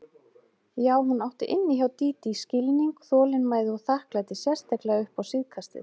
Já, hún átti inni hjá Dídí skilning, þolinmæði og þakklæti, sérstaklega upp á síðkastið.